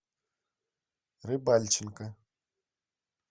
рыбальченко